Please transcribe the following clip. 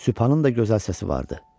Sübhanın da gözəl səsi vardı.